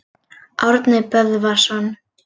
Árni Böðvarsson.